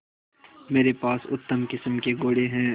मेरे पास उत्तम किस्म के घोड़े हैं